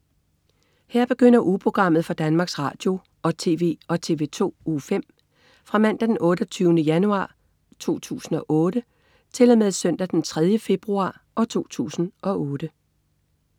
Her begynder ugeprogrammet for Danmarks Radio- og TV og TV2 Uge 5 Fra Mandag den 28. januar 2008 Til Søndag den 3. februar 2008